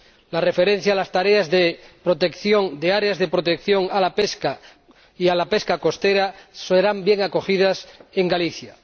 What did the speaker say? La referencia a las tareas de protección, a áreas de protección de la pesca y a la pesca costera serán bien acogidas en Galicia.